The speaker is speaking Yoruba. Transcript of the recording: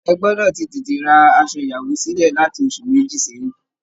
Ẹ gbọdọ̀ ti tètè ra asọ ìyàwó sílẹ̀ láti oṣù méjì sẹ́yìn!